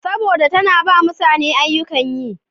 Saboda da tana ba mutane ayyukan yi.